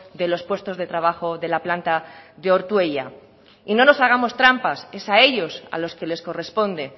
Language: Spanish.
de los puestos de trabajo de la planta de ortuella no nos hagamos trampas es a ellos a los que les corresponde